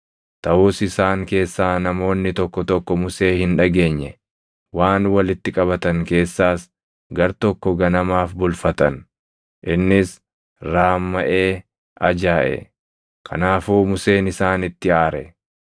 Taʼus isaan keessaa namoonni tokko tokko Musee hin dhageenye; waan walitti qabatan keessaas gartokko ganamaaf bulfatan; innis raammaʼee ajaaʼe. Kanaafuu Museen isaanitti aare.